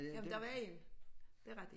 Ja men der var en det rigtig